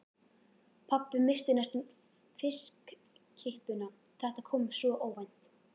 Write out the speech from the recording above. Pabbi missti næstum fiskkippuna, þetta kom svo óvænt.